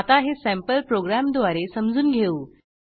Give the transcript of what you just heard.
आता हे सँपल प्रोग्रॅमद्वारे समजून घेऊ